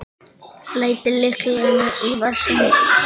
Lætur lyklana í vasann.